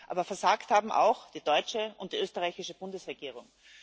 Aber versagt haben auch die deutsche und die österreichische Bundesregierung.